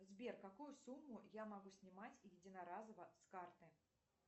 сбер какую сумму я могу снимать единоразово с карты